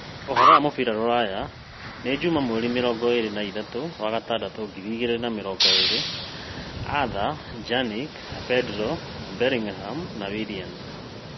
Ũhoro wa mũbira rũraya Juma mweri mĩrongo ĩĩrĩ na ithathatũ wa-gatandatũ ngiri igĩrĩ na mĩrongo ĩĩrĩ : Arthur, Pjanic, Pedro, Bellingham, Willian